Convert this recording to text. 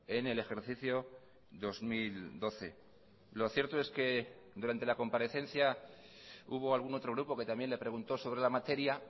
en el ejercicio dos mil doce lo cierto es que durante la comparecencia hubo algún otro grupo que también le preguntó sobre la materia